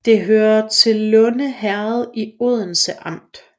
Det hørte til Lunde Herred i Odense Amt